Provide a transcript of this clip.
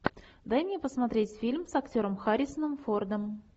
дай мне посмотреть фильм с актером харрисоном фордом